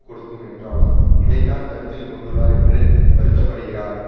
கொடுக்கும் என்றாலும் இதைத்தான் கருத்தில் கொண்டுள்ளார் என்று வருத்த படுகிறார்